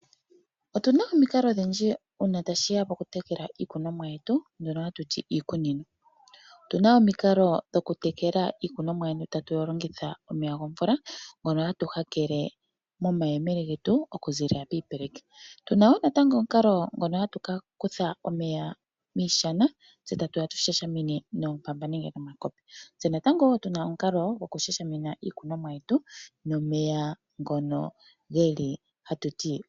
Otu na omikalo odhindji ngele tashi ya pokutekela iikunomwa yetu mbyono hatu ti iikunino. Otu na omikalo dhokutekela iikunomwa yetu tatu longitha omeya gomvula ngono hatu hakele nomayemele getu okuziilila kiipeleki. Otu na wo omukalo ngono natango hatu kutha omeya miishana tse tatu ya tu shashamine noompamba nenge nomakopi.